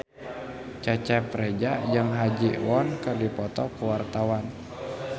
Cecep Reza jeung Ha Ji Won keur dipoto ku wartawan